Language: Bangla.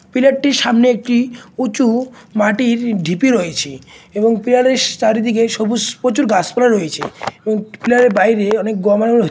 পিলার টির সামনে একটি উঁচু-উঁ মাটির ঢিপি রয়েছে এবং পিলার -এর স চারিদিকে সবুজ প্রচুর গাছ পালা রয়েছে এবং পিলার -এর বাইরে অনেক